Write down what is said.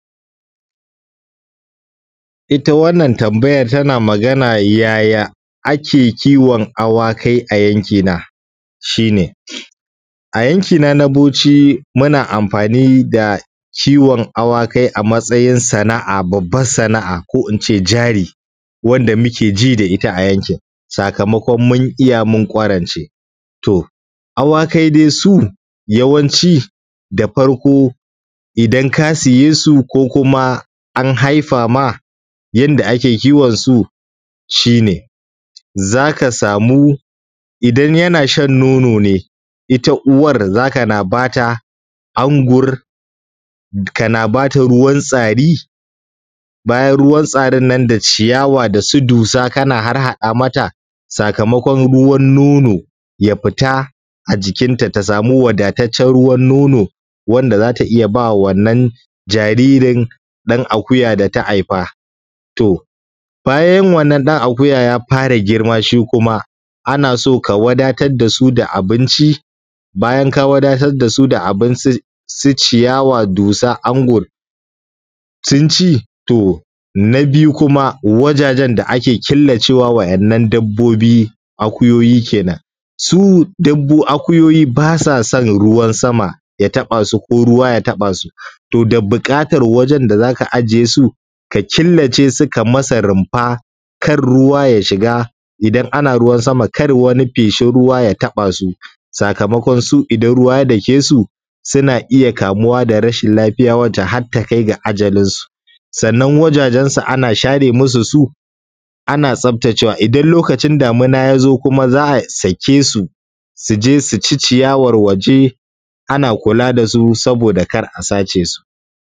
Itta wannan tambayan tana magana yaya ake kiwon awakai a yanki na? shine a yankina na bauchi muna amfani da kiwon awakai a matsayin sana’a babban sana’a ko ince jari wanda mukeji da itta a yankin, sakamakon mun iyya mun kwarance to awakai dai su yawanci da farko idan ka siyesu ko kuma an haifama yanda ake kiwon su. shine zaka samu idan yanashan nono ne itta uwan zakana bata angur kana bata ruwan tsari, bayan ruwan tsarinnan da ciyawa dasu dusa kana harhaɗa mata sakamakon ruwan nono ya fita a jikinta ta samu wadataccen ruwan nono wanda zata iyya bawa wannan jaririn ɗan akuya data Haifa. To bayan wannan ɗan akuya ya fara girma shi kuma a naso ka wadatar dasu da abinci, bayan ka wadatar dasu da abin su ciyawa dusa sunci. To na biyu kuma wajajen da ake killacewa wa ‘yan’ nan dabbobi akuyoyi kenan. su akuyoyi basa son ruwan sama ya taɓasu ko ruwa ya taɓasu to dabuƙatan wajen da za ka a jiyesu ka killacesu ka masa rumfa kar ruwa ya shiga idan ana ruwan sama kar wani feshin ruwa ya taɓasu sakamakon su idan ruwa ya dakesu suna iyya kamuwa da rashin lafiya wanda harta kai ga ajalinsu. Sannan wajajen su ana share musu su ana tsaftacewa idan lokacin damina yazo kuma za’a sakesu suje suci ciyawar waje ana kula dasu saboda kar a sace su.